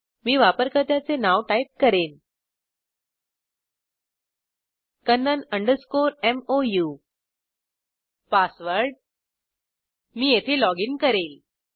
मी वापरकर्त्याचे नाव टाईप करेन kannan मोऊ मी येथे पासवर्ड लॉगइन करेल